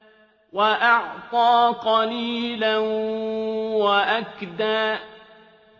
وَأَعْطَىٰ قَلِيلًا وَأَكْدَىٰ